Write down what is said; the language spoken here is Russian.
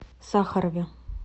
сахарове